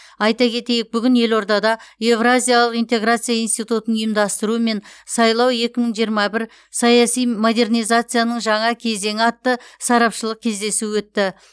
айта кетейік бүгін елордада еуразиялық интеграция институтының ұйымдастыруымен сайлау екі мың жиырма бір саяси модернизацияның жаңа кезеңі атты сарапшылық кездесу өтті